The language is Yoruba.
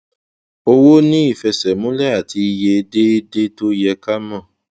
owó ní ìfẹsẹmúlẹ àti iye déédéé tó yẹ ká mọ